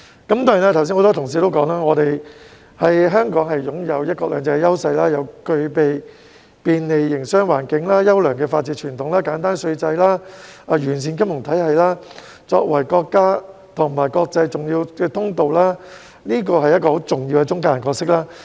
此外，很多同事剛才說香港擁有"一國兩制"的優勢，又具備便利的營商環境、優良的法治傳統、簡單稅制、完善的金融體系，作為國家與國際重要的通道，這是一個很重要的中介人角色。